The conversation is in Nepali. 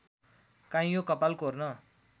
काइँयो कपाल कोर्न